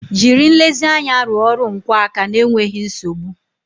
Jiri nlezianya rụọ ọrụ nkwọ aka n'enweghị nsogbu